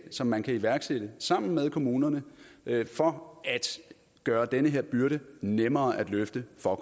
som man kan iværksætte sammen med kommunerne for at gøre den her byrde nemmere at løfte for